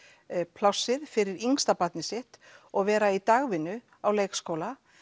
plássið fyrir yngsta barnið sitt og vera í dagvinnu á leikskóla